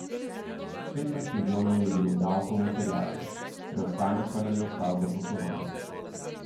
Petnajst milijonov je bilo davkov in terjatev, preostanek pa nam je ostal za poslovanje.